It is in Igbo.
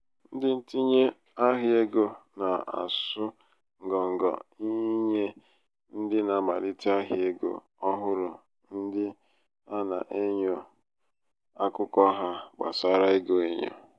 ndị ntinye ahịa égo na-asụ ngọ ngọ ịnye ndị na-amalite ahịa égo ọhụrụ ndị ana-enyo akụkọ ha gbasárá ego enyo.